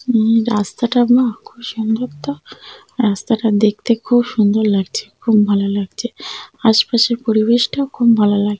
উম- রাস্তাটা না খুব সুন্দর তো রাস্তাটা দেখতে খুব সুন্দর লাগছে খুব ভালো লাগছে আশপাশের পরিবেশটা খুব ভালো লাগে।